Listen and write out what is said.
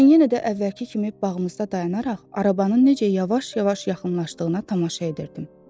Mən yenə də əvvəlki kimi bağımızda dayanaraq, arabanın necə yavaş-yavaş yaxınlaşdığına tamaşa edirdim.